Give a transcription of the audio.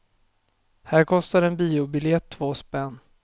Här kostar en biobiljett två spänn.